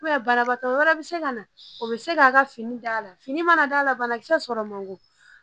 banabagatɔ wɛrɛ bɛ se ka na o bɛ se k'a ka fini d'a la fini mana d'a la banakisɛ sɔrɔ man bon